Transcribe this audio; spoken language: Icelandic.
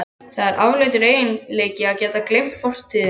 Það er afleitur eiginleiki að geta ekki gleymt fortíðinni.